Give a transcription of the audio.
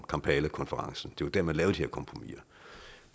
kampalakonferencen det var dér man lavede de her kompromiser